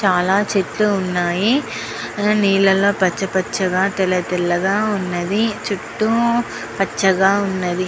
చాల చెట్లు వున్నాయ్ నీళ్ళగా చుతూ పచ పచగా తెల్ల తెల్లగా పచగా వున్నది చుట్టు పచగా వున్నది.